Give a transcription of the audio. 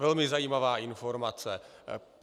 Velmi zajímavá informace.